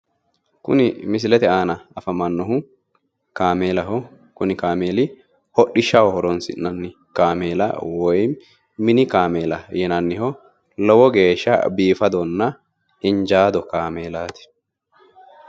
Kuni misilete aana afamannohu kameelaho, kuni kameeli hodhishshaho horonsi'nanni kameela woy mini kameelaa yinanniho lowo geeshsha biifadonna injaado kameelaati.